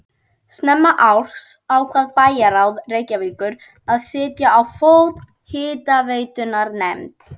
Snemma árs ákvað bæjarráð Reykjavíkur að setja á fót hitaveitunefnd.